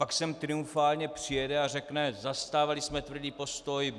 Pak sem triumfálně přijede a řekne: "Zastávali jsme tvrdý postoj.